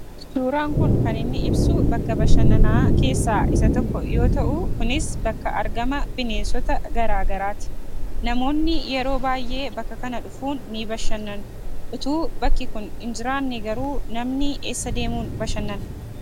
Suuraan kun kaninni ibsu bakka bashannaan keessaa isa tokko yoo ta'u, kunis bakka argama bineensota garaagaraati. namoonni yeroo baay'ee bakka kana dhufuun ni bashannanu utuu bakki kun hin jiraanne namni eessaa deemun bashannan?